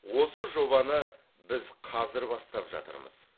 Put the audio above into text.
осы жобаны біз қазір бастап жатырмыз